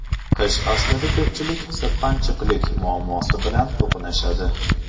Qish faslida ko‘pchilik sirpanchiqlik muammosi bilan to‘qnashadi.